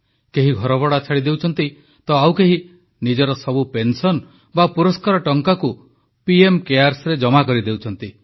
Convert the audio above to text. କେହି ଘରଭଡ଼ା ଛାଡ଼ିଦେଉଛନ୍ତି ତ ଆଉ କେହି ନିଜର ସବୁ ପେନସନ ବା ପୁରସ୍କାର ଟଙ୍କାକୁ ପିଏମ୍ କେୟାର୍ସରେ ଜମା କରିଦେଉଛନ୍ତି